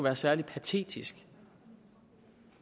er særlig patetisk